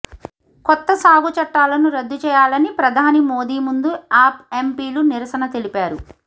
కొత్త సాగు చట్టాలను రద్దు చేయాలని ప్రధాని మోదీ ముందు ఆప్ ఎంపీలు నిరసన తెలిపారు